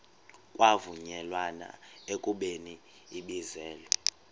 kwavunyelwana ekubeni ibizelwe